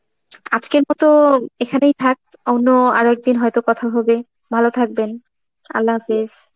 আজকের মত এখানেই থাক, অন্য আরেকদিন হয়তো কথা হবে. ভাল থাকবেন. Arbi